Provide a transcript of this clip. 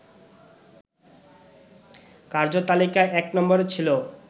কার্যতালিকায় ১ নম্বরে ছিল